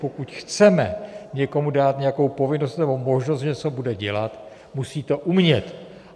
Pokud chceme někomu dát nějakou povinnost nebo možnost, že něco bude dělat, musí to umět.